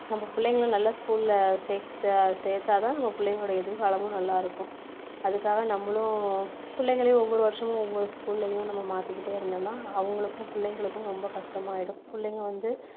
நம்ம பிள்ளைகளை நல்ல school ல சேர்த்து சேர்த்தா தான் நம்ம பிள்ளைங்களுடைய எதிர்காலமும் நல்லா இருக்கும் அதுக்காக நம்மளும் பிள்ளைகளையும் ஒவ்வொரு வருஷமும் ஒவ்வொரு school லயும் நம்ம மாத்திக்கிட்டே இருந்தோம்னா அவங்களுக்கும் பிள்ளைங்களுக்கும் ரொம்ப கஷ்டமாயிடும் புள்ளைங்க வந்து